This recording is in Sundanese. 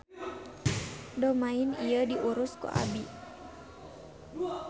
Domain ieu diurus ku abi